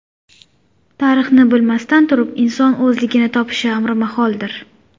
Tarixni bilmasdan turib inson o‘zligini topishi amri maholdir.